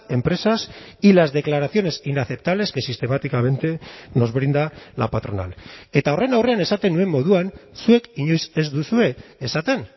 empresas y las declaraciones inaceptables que sistemáticamente nos brinda la patronal eta horren aurrean esaten nuen moduan zuek inoiz ez duzue esaten